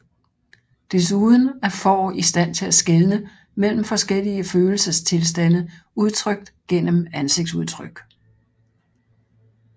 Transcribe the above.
Desuden er får i stand til skelne mellem forskellige følelsestilstande udtrykt gennem ansigtsudtryk